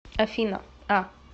афина а